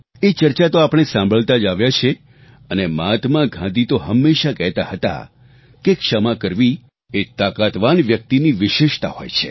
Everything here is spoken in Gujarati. એ ચર્ચા તો આપણે સાંભળતા જ આવ્યા છીએ અને મહાત્મા ગાંધી તો હંમેશા કહેતા હતા કે ક્ષમા કરવી એ તાકાતવાન વ્યક્તિની વિશેષતા હોય છે